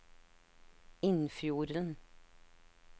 Innfjorden